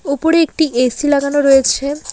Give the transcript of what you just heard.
উপরে একটি এ_সি লাগানো রয়েছে।